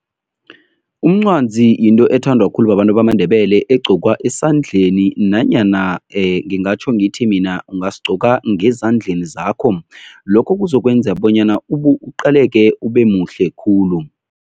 Umncwazi yinto ethandwa khulu babantu bamaNdebele egqokwa esandleni nanyana ngingatjho ngithi mina ungasigqoka ngezandleni zakho. Lokho kuzokwenza bonyana uqaleke, ube muhle khulu.